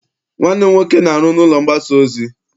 Nwanne m nwoke na-aru n'ụlọ mgbasa ozi.